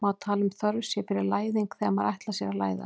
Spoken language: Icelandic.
Má tala um þörf sé fyrir læðing þegar maður ætlar sér að læðast?